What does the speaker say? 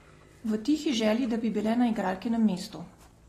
V tihi želji, da bi bile na igralkinem mestu.